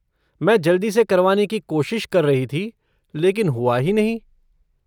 मैं जल्दी से करवाने की कोशिश कर रही थी लेकिन हुआ ही नहीं।